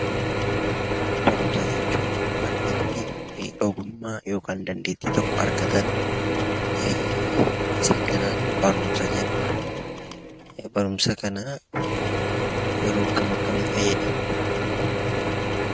Barumsa jechuun bakka itti beekumsa yookiin ogummaa argataniidha. Barumsa kanaa yeroo akkam akkamii fayyadamna?